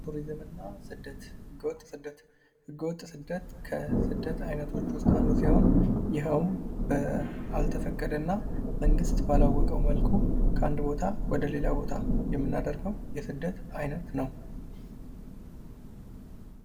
ቱሪዝምና ስደት ህገወጥ ስደት ህገወጥ ስደት ከስደት አይነቶች ውስጥ አንዱ ሲሆን ይሄው ባልተፈቀደና መንግስት ባላወቀው መልኩ ከአንድ ቦታ ወደሌላ ቦታ የምናደርገው የስደት አይነት ነው።